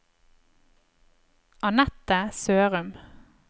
Annette Sørum